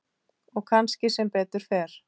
Og kannski sem betur fer.